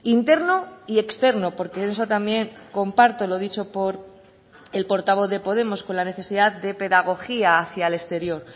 interno y externo porque eso también comparto lo dicho por el portavoz de podemos con la necesidad de pedagogía hacia el exterior